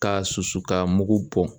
K'a susu k'a mugu bɔ